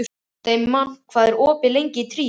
Steinmann, hvað er opið lengi í Tríó?